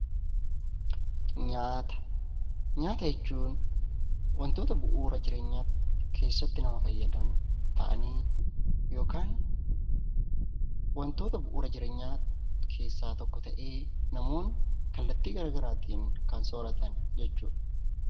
Nyaata jechuun wantoota bu'uura jireenyaaf keessatti nama fayyadan ta'anii yookaan wantoota bu'uura jireenyaa keessaa tokko ta'ee, namoonni kallattii gara garaatiin kan sooratan jechuudha.